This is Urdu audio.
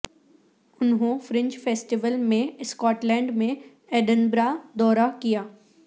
انہوں فرنج فیسٹیول میں اسکاٹ لینڈ میں ایڈنبرا دورہ کیا